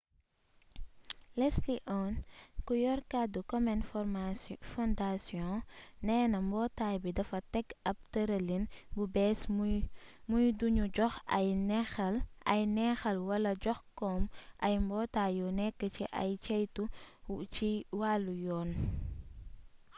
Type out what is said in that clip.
leslie aun ku yor kaddu komen foundation neena mbootaay bi dafa teg ab tërëlin bu bees muy du nu jox ay neexal wala jox kom ay mbootaay yu nekk ci ay ceytu ci wàllu yoon